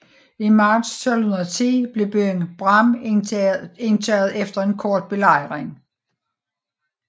I marts 1210 blev byen Bram indtaget efter en kort belejring